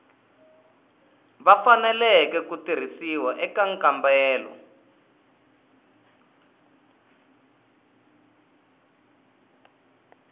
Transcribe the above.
faneleke ku tirhisiwa eka nkambelo